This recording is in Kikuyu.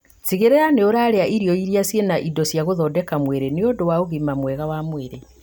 Tigĩrĩrĩra nĩũrarĩa irio irĩ na indo cia gũthondeka mwĩrĩ nĩũndũ wa ũgima mwega wa mwĩrĩ